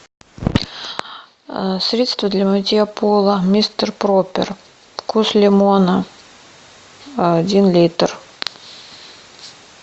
средство для мытья пола мистер пропер вкус лимона один литр